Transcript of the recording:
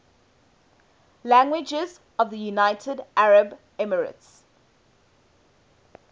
languages of the united arab emirates